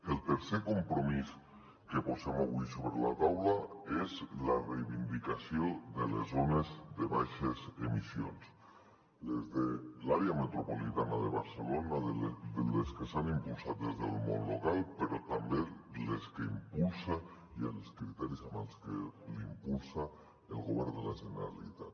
el tercer compromís que posem avui sobre la taula és la reivindicació de les zones de baixes emissions les de l’àrea metropolitana de barcelona les que s’han impulsat des del món local però també les que impulsa i els criteris amb els que les impulsa el govern de la generalitat